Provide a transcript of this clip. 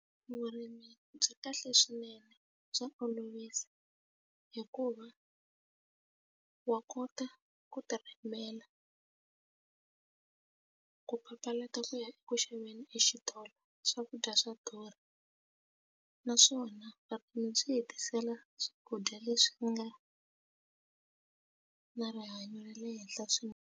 Vurimi byi kahle swinene bya olovisa hikuva wa kota ku ti rimela ku papalata ku ku ya eku xaveni exitolo swakudya swa durha naswona vutomi byi hetisela swakudya leswi nga na rihanyo ra le henhla swinene.